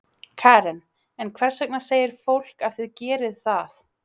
Karen: En hvers vegna segir fólk að þið gerið það?